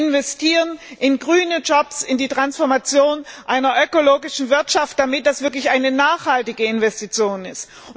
Es sollte investieren in grüne Jobs, in die Transformation in eine ökologische Wirtschaft, damit es wirklich eine nachhaltige Investition ist.